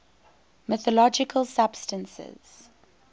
mythological substances